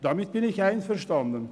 Damit bin ich einverstanden.